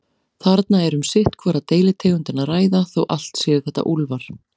Þarna er um sitt hvora deilitegundina að ræða, þó allt séu þetta úlfar.